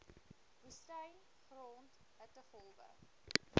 woestyn grond hittegolwe